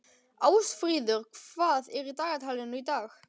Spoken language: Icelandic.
Ásfríður, hvað er í dagatalinu í dag?